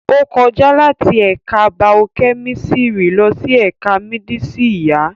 Ó kọjá láti ẹ̀ka baokẹ́mísírì lọ sí ẹ̀ka mdísì ìyá